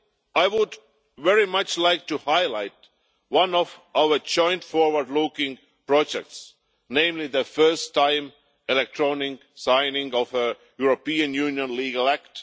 I would very much like to highlight one of our joint forward looking projects, namely the first ever electronic signing of a European Union legal act.